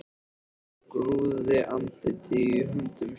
Hún grúfði andlitið í höndum sér.